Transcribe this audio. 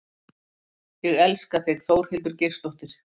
Ég elska þig Þórhildur Geirsdóttir.